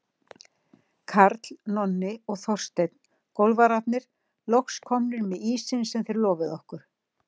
Karl, Nonni og Þorsteinn, golfararnir, loks komnir með ísinn sem þeir lofuðu okkur.